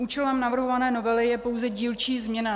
Účelem navrhované novely je pouze dílčí změna.